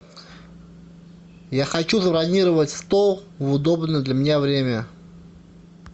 я хочу забронировать стол в удобное для меня время